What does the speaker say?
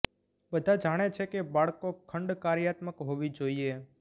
બધા જાણે છે કે બાળકો ખંડ કાર્યાત્મક હોવી જોઈએ